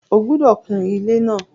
O gbúdọ̀ kun ilé náà!